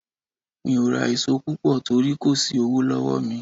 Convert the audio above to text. Mi ò ra èso púpọ̀ torí kò sí owó lọ́wọ́ mi.